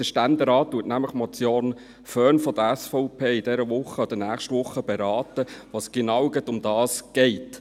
Der Ständerat berät nämlich die Motion Föhn von der SVP diese oder nächste Woche, wobei es um genau das geht.